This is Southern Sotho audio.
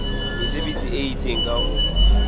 mesebetsi e itseng ka ho